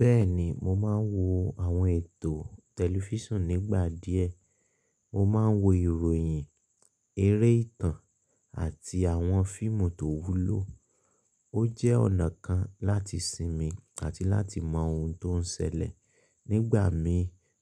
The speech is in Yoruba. Bẹ́ẹ̀ni, mo máa ń wo àwọn ètò tẹlifíṣàn nígbà díẹ̀. Mo máa ń wo ìròyìn, eré ìtàn àti àwọn fíìmù tó wúlò. Ó jẹ́ ọ̀nà kan láti sinmi àti láti mọ ohun tó ń ṣẹlẹ̀. Nígbà mí